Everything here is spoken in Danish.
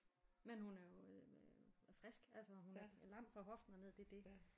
Men hun er jo frisk altså hun er lam fra hoften og ned det dét